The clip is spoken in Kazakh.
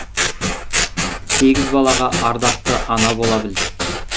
сегіз балаға ардақты ана бола білді